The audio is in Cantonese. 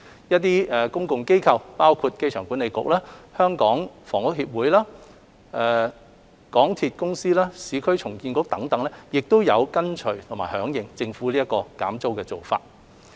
一些公共機構，包括香港機場管理局、香港房屋協會、香港鐵路有限公司、市區重建局等亦有跟隨和響應政府減租的做法。